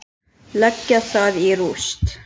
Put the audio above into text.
Leggja það í rúst!